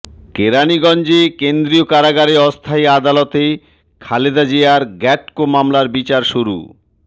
কেরানীগঞ্জে কেন্দ্রীয় কারাগারে অস্থায়ী আদালতে খালেদা জিয়ার গ্যাটকো মামলার বিচার শুরু